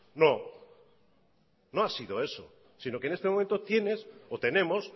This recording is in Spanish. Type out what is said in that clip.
no no ha sido eso sino que en este momento tienes o tenemos